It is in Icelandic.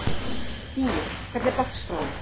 Tími, hvernig er dagskráin?